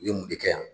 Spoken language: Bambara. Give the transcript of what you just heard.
U ye mun de kɛ yan